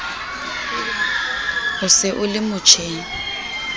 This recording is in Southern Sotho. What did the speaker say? o se o le motjheng